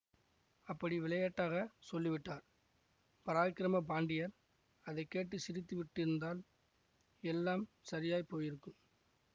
அப்படி விளையாட்டாகச் சொல்லிவிட்டார் பராக்கிரம பாண்டியர் அதை கேட்டு சிரித்து விட்டிருந்தால் எல்லாம் சரியாய்ப் போயிருக்கும்